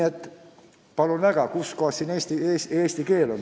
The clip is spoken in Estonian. Aga palun väga – kus kohas siin eesti keel on?